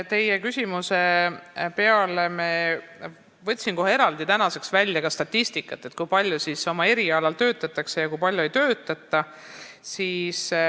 Teie küsimuse peale ma võtsin tänaseks välja ka eraldi statistika, kui palju siis oma erialal töötatakse ja kui palju ei töötata.